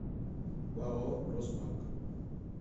пао росбанк